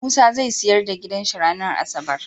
Musa zai siyar da gidan shi ranar asabar